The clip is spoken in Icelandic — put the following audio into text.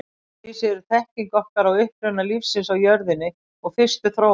Að vísu er þekking okkar á uppruna lífsins á jörðinni og fyrstu þróun í molum.